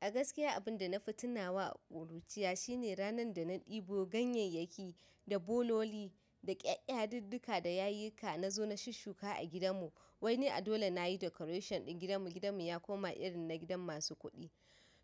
Gaskiya abinda na fi tunawa a ƙuruciya shine ranan da na ɗibo ganyayyaki da bololi da ƙya yadiddika na zo na shushuka a gidan mu wai ni a dole na yi decoration ɗin gidanmu. Gidanmu ya koma irin na gidan masu kuɗi.